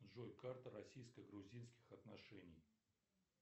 джой карта российско грузинских отношений